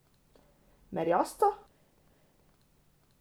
Merjasca!